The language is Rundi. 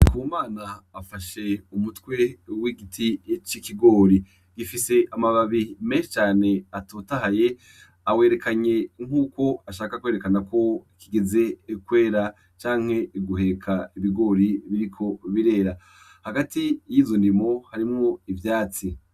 Ku mana afashe umutwi w'igiti c'ikigori gifise amababi me cane atotahaye awerekanye nk'uko ashaka kwerekana kwo kigeze ekwera canke iguheka ibigori biriko birera hagati y'izundimo harimwo ivyatsi.